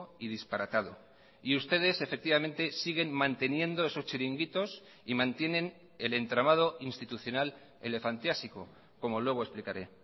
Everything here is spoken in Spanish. y disparatado y ustedes efectivamente siguen manteniendo esos chiringuitos y mantienen el entramado institucional elefantiásico como luego explicaré